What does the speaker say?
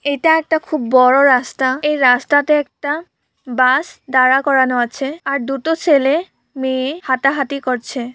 এটা একটা খুব বড় রাস্তা এই রাস্তাতে একটা বাস দাড়া করানো আছে আর দুটো ছেলে মেয়ে হাটাহাটি করছে।